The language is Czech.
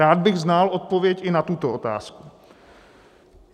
Rád bych znal odpověď i na tuto otázku.